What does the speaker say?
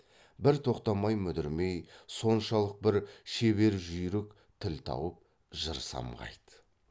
бір тоқтамай мүдірмей соншалық бір шебер жүйрік тіл тауып жыр самғайды